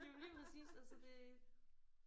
Jamen lige præcis altså det